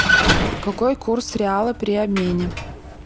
какой курс реала при обмене